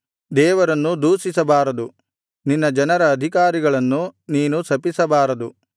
ದೇವರನ್ನು ದೂಷಿಸಬಾರದು ನಿನ್ನ ಜನರ ಅಧಿಕಾರಿಗಳನ್ನು ನೀನು ಶಪಿಸಬಾರದು